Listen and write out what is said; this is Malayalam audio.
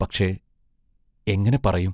പക്ഷേ, എങ്ങനെ പറയും?